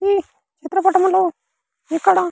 ఈ చిత్ర పటములో ఇక్కడ.